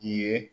I ye